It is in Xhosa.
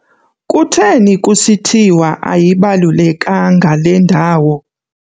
Kutheni kusithiwa ayibalulekanga le ndawo?